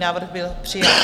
Návrh byl přijat.